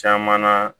Caman na